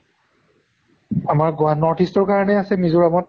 আমাৰ গুৱা north east ৰ কাৰণে আছে মিজোৰামত